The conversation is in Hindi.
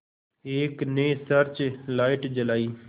एक ने सर्च लाइट जलाई